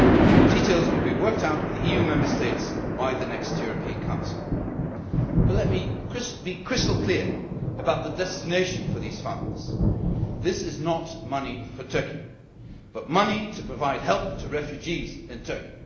The details will be worked out with the EU Member States by the next European Council. However, let me be crystal clear about the destination for these funds this is not money for Turkey it is money to provide help to refugees in